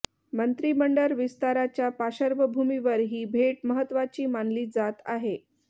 मंत्रीमडळ विस्ताराच्या पार्श्वभूमीवर ही भेट महत्त्वाची मानली जात आहे